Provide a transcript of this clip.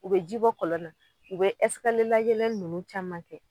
U be ji bɔ kɔlɔn na, u be layɛlɛn ninnu caman kɛ.